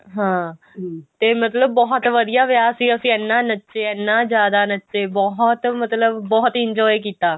ਹਾਂ ਤੇ ਮਤਲਬ ਬਹੁਤ ਵਧੀਆਂ ਵਿਆਹ ਸੀ ਅਸੀਂ ਇੰਨਾ ਨੱਚੇ ਇੰਨਾ ਜਿਆਦਾ ਨੱਚੇ ਬਹੁਤ ਮਤਲਬ ਬਹੁਤ enjoy ਕੀਤਾ